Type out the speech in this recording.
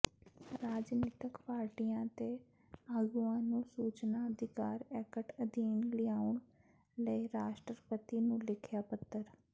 ਰਾਜਨੀਤਕ ਪਾਰਟੀਆਂ ਤੇ ਆਗੂਆਂ ਨੂੰ ਸੂਚਨਾ ਅਧਿਕਾਰ ਐਕਟ ਅਧੀਨ ਲਿਆਉਣ ਲਈ ਰਾਸ਼ਟਰਪਤੀ ਨੂੰ ਲਿਖਿਆ ਪੱਤਰ